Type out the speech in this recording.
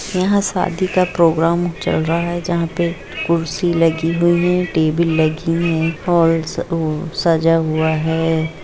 यहां शादी का प्रोग्राम चल रहा है जहां पे कुर्सी लगी हुई है टेबल लगी है हाल सजा हुआ है